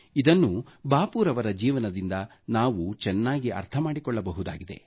ಇದನ್ನು ಬಾಪು ರವರ ಜೀವನದಿಂದ ನಾವು ಚೆನ್ನಾಗಿ ಅರ್ಥ ಮಾಡಿಕೊಳ್ಳಬಹುದಾಗಿದೆ